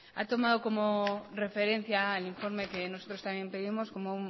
ha tomado como referencia el informe que nosotros también pedimos como